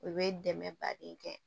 U bɛ dɛmɛ baden kɛ